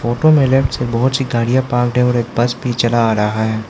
Photo में left से बहुत सी गाड़ियाँ पार्कड हैं और एक बस भी चला आ रहा है।